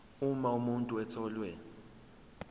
uma umuntu etholwe